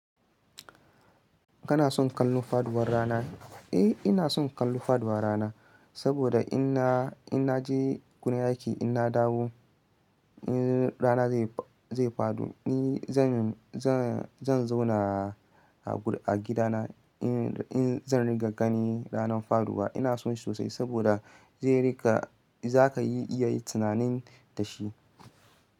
Kana son kallo faduwar rana? Eh ina son kallo faduwar rana, saboda in na, in na je kunna aiki in na dawo, in rana zai, zai fado ni zan, zan, zan zauna a gida na in, in zan riga gani ranar faruwa. Ina son sosai saboda zai riga za ka yi iya yi tunanin da shi.